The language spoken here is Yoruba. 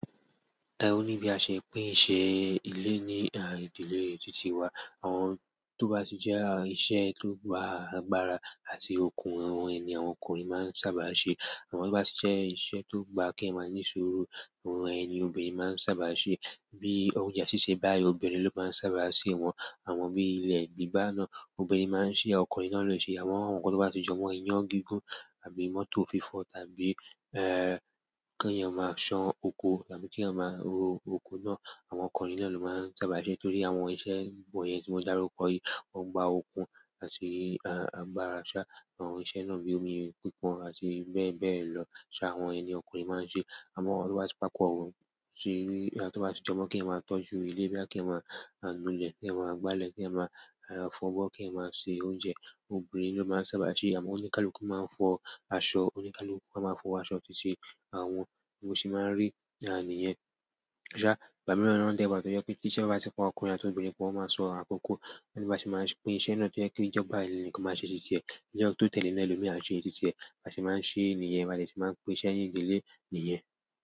Ẹ oní bí a ṣe pín iṣẹ́ ilé ní ìdílé títí wa. Àwọn tó bá tí jẹ́ iṣẹ́ tó gba agbára àti okun àwọn ẹni, àwọn ọkùnrin máa sábà ṣe. Àwọn tó bá sì jẹ́ iṣẹ́ tó gba kí ẹ máa ní suru àwọn ẹni obìnrin máa sábà ṣe. Bíi oúnjẹ sísè báyìí, obirin ló máa sábà ṣe wọn. Àwọn bí ilẹ̀ gbígbà náà, obìnrin máa ṣe é, ọkùnrin náà ló ṣe é. Àwọn nǹkan tó bá ti jo mọ́ iyán gígùn àbí mọ́tò fífọ̀ tàbí, ẹ́ kí ẹ máa ṣán oko tàbí kí ẹ máa ro oko náà, àwọn ọkùnrin náà ló máa sábà ṣe. Torí àwọn iṣẹ́ wọ̀nyẹn tí mo dàrúko yìí, ó gba okun àti agbára ṣá, àwọn iṣẹ́ náà bí omi pípọn àti bẹ́ẹ̀ bẹ́ẹ̀ lọ, ṣá àwọn ẹni ọkùnrin máa ṣe é. Amo àwọn tó bá ti papó mo bi ki ènìyàn ma tọ jù ilé bí kí ènìyàn manu ile ki ènìyàn ma nu ilé ki ènìyàn ma gbálè ki fo àbọ obirin lo ma sábà ṣe iṣẹ́ àmọ́ oníkálùkù máa fọ aṣọ, oníkálùkù máa fọ aṣọ títí, àwọn nǹkan tí máa ń rí gan-an nìyẹn bóyá, ìgbà mìíràn náà dẹ́ bà tó jẹ́ pé kí iṣẹ́ bá ti pọ̀ ọkùnrin àti obìnrin, po wọ́n máa sọ̀rọ̀ àkọ́kọ́. Bi àṣẹ má pín iṣẹ́ no tó jẹ pé ìjọba yi ni kò má ṣe iṣẹ́ tí tí è ijo tó tẹ̀lé lè ló mi a ṣe é títí ẹ. Tàsé máa ṣe nièyí, ba dé se máa pín iṣẹ́ ní ìdílé nìyẹn.